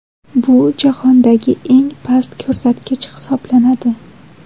Bu jahondagi eng past ko‘rsatkich hisoblanadi.